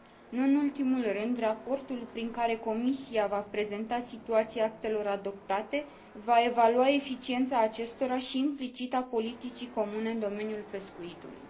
Nu în ultimul rând, raportul prin care Comisia va prezenta situația actelor adoptate va evalua eficiența acestora și, implicit, a politicii comune în domeniul pescuitului.